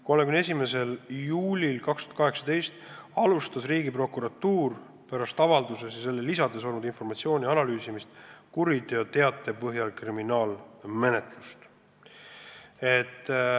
31. juulil 2018 alustas Riigiprokuratuur pärast avalduses ja selle lisades esitatud informatsiooni analüüsimist kriminaalmenetlust.